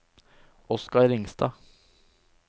Oscar Ringstad